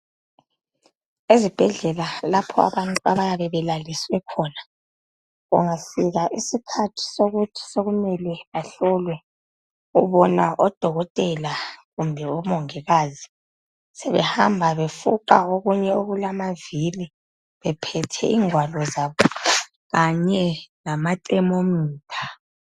Ezibhedlela lapho abantu abayabe belaliswe khona .Kungafika isikhathi sokuthi sokumele ahlolwe .Ubona odokotela kumbe omongokazi sebehamba befuqa okunye okulamavili .Bephethe ingwalo zabo .Kanye lama thermometer.